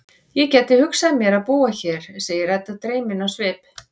Ég gæti hugsað mér að búa hér, segir Edda dreymin á svip.